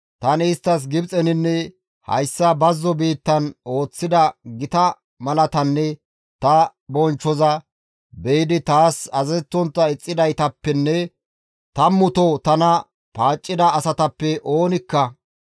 tani isttas Gibxeninne hayssa bazzo biittan ooththida gita malaatanne ta bonchchoza be7idi taas azazettontta ixxidaytappenne tammuto tana paaccida asatappe oonikka,